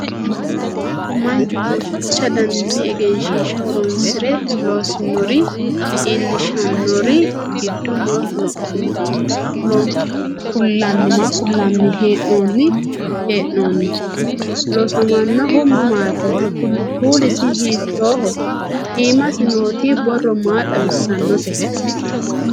mannu duuchu daninni egensiishsha horonsire loosinore iillishannori giddo maa kullanni hee'noonni? loosaminohu mamaati? kuulisi hiittooho? iimasi nooti borro maa xawissannote?